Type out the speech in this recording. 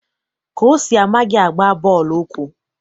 Kosi amaghị agba bọọlụ ụkwụ.